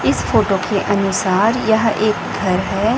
इस फोटो के अनुसार यह एक घर है।